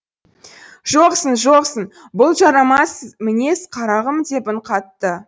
жоқсың жоқсың бұл жарамас мінез қарағым деп үн қатты